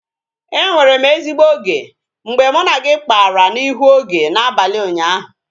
E nwere m ezigbo oge mgbe mụ na gị kpara n'ihu oge n'abalị ụnyaahụ